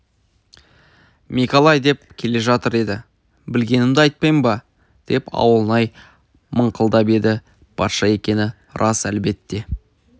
мекалай деп келе жатыр еді білгенімді айтпайын ба деп ауылнай мыңқылдап еді патша екені рас әлбетте